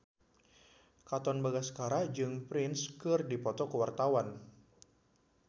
Katon Bagaskara jeung Prince keur dipoto ku wartawan